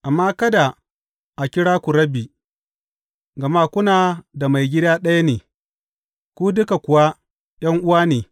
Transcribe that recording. Amma kada a kira ku Rabbi,’ gama kuna da Maigida ɗaya ne, ku duka kuwa, ’yan’uwa ne.